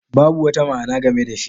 Babu wata ma'ana game da shi.